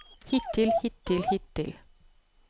hittil hittil hittil